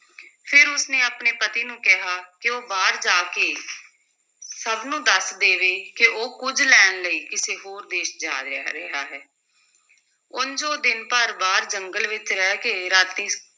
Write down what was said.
ਫਿਰ ਉਸ ਨੇ ਆਪਣੇ ਪਤੀ ਨੂੰ ਕਿਹਾ ਕਿ ਉਹ ਬਾਹਰ ਜਾ ਕੇ ਸਭ ਨੂੰ ਦੱਸ ਦੇਵੇ ਕਿ ਉਹ ਕੁੱਝ ਲੈਣ ਲਈ ਕਿਸੇ ਹੋਰ ਦੇਸ਼ ਜਾ ਰਿਹ~ ਰਿਹਾ ਹੈ ਉਂਞ ਉਹ ਦਿਨ ਭਰ ਬਾਹਰ ਜੰਗਲ ਵਿੱਚ ਰਹਿ ਕੇ ਰਾਤੀਂ